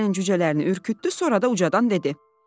Nailənin cücələrini ürkütdü, sonra da ucadan dedi: